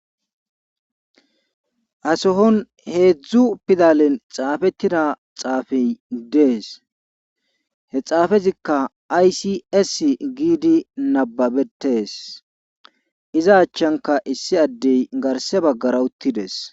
Ha sohon heedzdzu pidalen xaafettida xaafey dews he xaafezikka ays essi giidi nabbebettees iza achanka issi addey garsse baggara uttides.